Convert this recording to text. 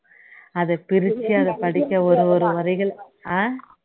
அதை பிரிச்சி அதை படிக்க ஒரு ஒரு வரிகள் ஆஹ்